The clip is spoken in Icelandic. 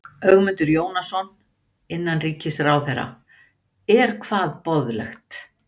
Ögmundur Jónasson, innanríkisráðherra: Er hvað boðlegt?